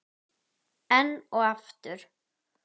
Enn og aftur?